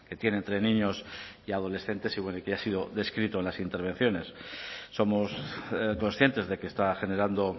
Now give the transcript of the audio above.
tiene entre niños y adolescentes y que ya ha sido descrito en las intervenciones somos conscientes de que está generando